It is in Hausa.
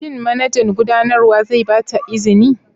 Shin manajan gudanarwa zai ba ta izini?